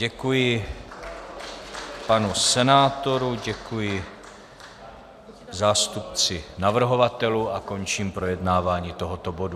Děkuji panu senátorovi, děkuji zástupci navrhovatelů a končím projednávání tohoto bodu.